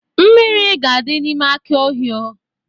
Mmiri ga-adị n'ime aki Ohio.